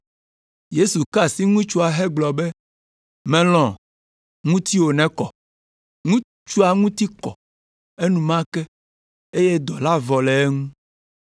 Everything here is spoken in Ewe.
Yesu ka asi ŋutsua hegblɔ be, “Mèlɔ̃, ŋutiwò nekɔ!” Ŋutsua ŋuti kɔ enumake, eye dɔ la vɔ le eŋu.